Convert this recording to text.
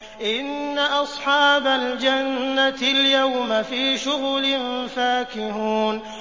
إِنَّ أَصْحَابَ الْجَنَّةِ الْيَوْمَ فِي شُغُلٍ فَاكِهُونَ